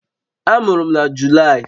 Amụrụ m na Julaị